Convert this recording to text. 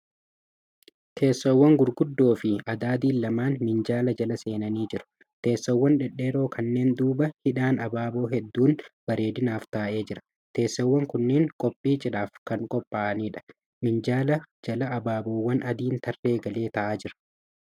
Teessoowwan gurguddoo fi adadiin lamaan minjaala jala seenanii jiru. Teessoowwan dhedheeroo kanneen duuba hidhaan abaaboo hedduun bareedinaaf taa'ee jira. Teessoowwn kunneen kophii cidhaaf kan kophaa'aniidha. Minjaala jala abaaboowwan adiin tarree galee taa'aa jira.